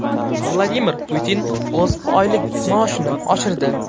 Vladimir Putin o‘z oylik maoshini oshirdi.